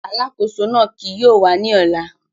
Alakoso náa kii yóò wa ni ọla.